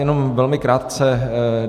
Jenom velmi krátce.